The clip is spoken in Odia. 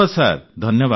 ଧନ୍ୟବାଦ ଆଜ୍ଞା